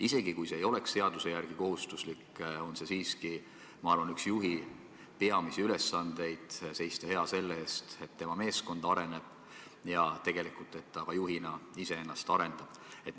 Isegi kui see ei oleks seaduse järgi kohustuslik, on siiski, ma arvan, üks juhi peamisi ülesandeid seista hea selle eest, et tema meeskond areneb ja et ta juhina ka iseennast arendab.